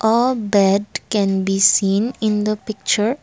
a bad can be seen in the picture.